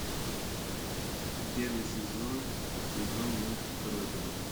первый сезон сезон мультик родина